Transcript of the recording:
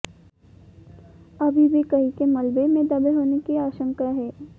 अभी भी कई के मलबे में दबे होने की आशंका है